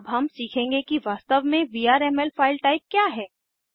अब हम सीखेंगे कि वास्तव में VRMLफाइल टाइप क्या है